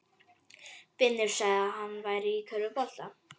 Finnur sagði að hann væri í körfubolta.